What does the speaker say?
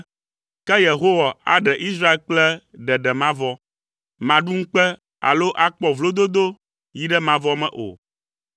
Ke Yehowa aɖe Israel kple ɖeɖe mavɔ. Màɖu ŋukpe alo akpɔ vlododo yi ɖe mavɔ me o,